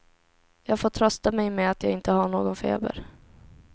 Jag får trösta mig med att jag inte har någon feber.